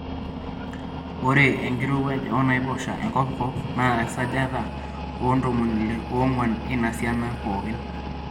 Ore enkirowuajata oo naiposha e kopikop naa esajata e 64%eina siana pookin.